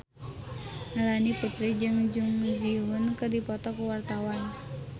Melanie Putri jeung Jung Ji Hoon keur dipoto ku wartawan